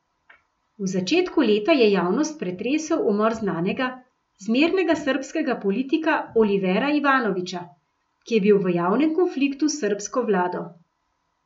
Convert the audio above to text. V začetku leta je javnost pretresel umor znanega, zmernega srbskega politika Olivera Ivanovića, ki je bil v javnem konfliktu s srbsko vlado.